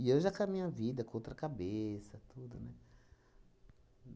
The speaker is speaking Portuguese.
E eu já com a minha vida, com outra cabeça, tudo, né?